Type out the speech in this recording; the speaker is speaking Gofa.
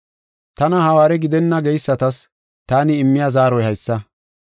Tana hawaare gidenna geysatas taani immiya zaaroy haysa.